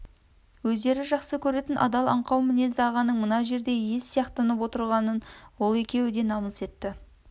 өздері жақсы көретін адал аңқау мінезді ағаның мына жерде ез сияқтанып отырғанын ол екеуі де намыс етті